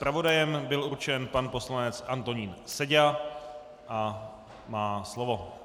Zpravodajem byl určen pan poslanec Antonín Seďa a má slovo.